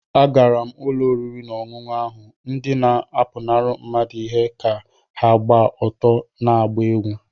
Agara m ụlọ oriri na ọṅụṅụ ahụ, ndị na-apụnara mmadụ ihe ka ha gba ọtọ na-agba egwú